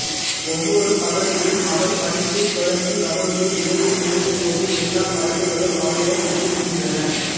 ஒவ்வொரு பகலிலும் அவர் படைப்பு தொடங்கி அவருடைய இரவு நெருங்கும்போது எல்லா படைப்புகளும் அவரிடம் ஒடுங்குகின்றன